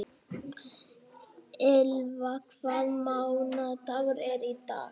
Ylva, hvaða mánaðardagur er í dag?